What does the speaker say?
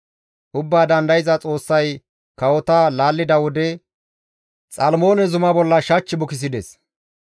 Ubbaa Dandayza Xoossay kawota laallida wode, Xalmoone Zuma bolla shach bukisides.